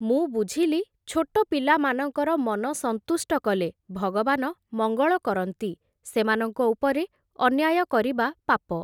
ମୁଁ ବୁଝିଲି, ଛୋଟ ପିଲାମାନଙ୍କର ମନ ସନ୍ତୁଷ୍ଟ କଲେ, ଭଗବାନ ମଙ୍ଗଳ କରନ୍ତି, ସେମାନଙ୍କ ଉପରେ, ଅନ୍ୟାୟ କରିବା ପାପ ।